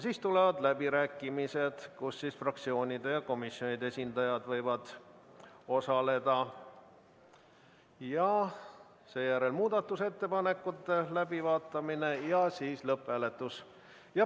Siis tulevad läbirääkimised, milles võivad osaleda fraktsioonide ja komisjonide esindajad, ning sellele järgnevad muudatusettepanekute läbivaatamine ja lõpphääletus.